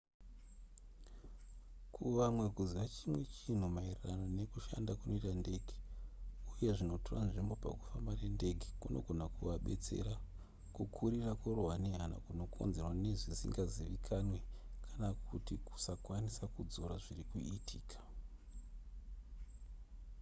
kuvamwe kuziva chimwe chinhu maererano nekushanda kunoita ndege uye zvinotora nzvimbo pakufamba nendege kunogona kuvabetsera kukurira kurohwa nehana kunokonzerwa nezvisingazivikanwe kana kuti kusakwanisa kudzora zviri kuitika